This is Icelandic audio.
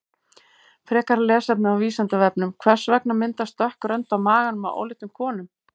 Frekara lesefni á Vísindavefnum: Hvers vegna myndast dökk rönd á maganum á óléttum konum?